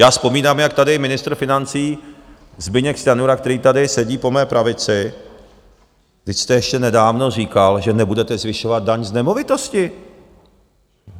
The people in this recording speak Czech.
Já vzpomínám, jak tady ministr financí Zbyněk Stanjura, který tady sedí po mé pravici, vždyť jste ještě nedávno říkal, že nebudete zvyšovat daň z nemovitosti.